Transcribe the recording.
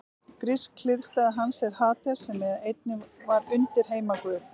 Grísk hliðstæða hans er Hades sem einnig var undirheimaguð.